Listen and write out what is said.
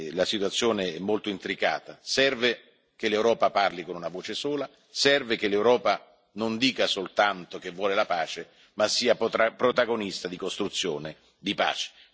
la situazione è molto intricata. Serve che l'Europa parli con una voce sola, serve che l'Europa non dica soltanto che vuole la pace, ma sia protagonista di costruzione della pace.